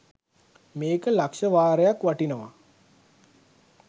මේක ලක්ශවාරයක් වටිනවා.